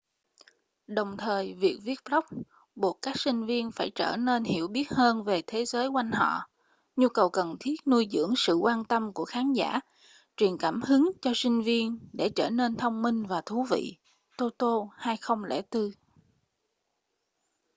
đồng thời việc viết blog buộc các sinh viên phải trở nên hiểu biết hơn về thế giới quanh họ”. nhu cầu cần thiết nuôi dưỡng sự quan tâm của khán giả truyền cảm hứng cho sinh viên để trở nên thông minh và thú vị toto 2004